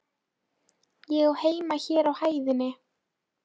Ég á heima hér á hæðinni.